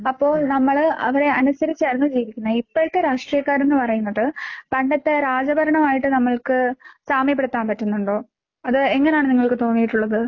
അപ്പോൾ നമ്മള് അവരെ അനുസരിച്ചായിരുന്നു ജീവിക്കുന്നെ, ഇപ്പഴത്തെ രാഷ്ട്രീയക്കാരെന്ന് പറയുന്നത് പണ്ടത്തെ രാജഭരണമായിട്ട് നമ്മൾക്ക് സാമ്യപ്പെടുത്താൻ പറ്റുന്നുണ്ടോ?